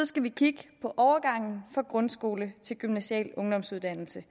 skal vi kigge på overgangen fra grundskole til gymnasial ungdomsuddannelse